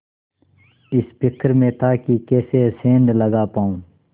इस फिक्र में था कि कैसे सेंध लगा पाऊँ